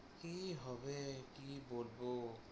কি হবে কি বলবো